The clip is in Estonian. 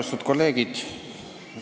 Austatud kolleegid!